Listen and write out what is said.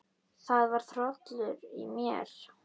Það var hrollur í mér.